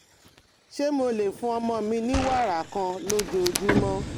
Ṣé mo lè fún ọmọ mi ní wàrà kan lójoojúmọ́?